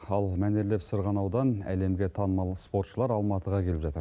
ал мәнерлеп сырғанаудан әлемге танымал спортшылар алматыға келіп жатыр